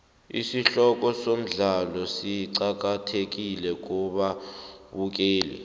isihloko somdlalo siqakathekile kubabukeli